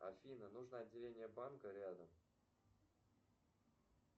афина нужно отделение банка рядом